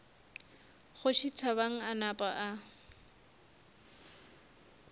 kgoši thabang a napa a